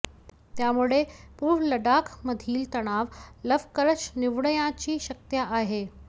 त्यामुळे पूर्व लडाखमधील तणाव लवकरच निवळण्याची शक्यता आहे